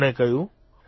તેમણે કહ્યું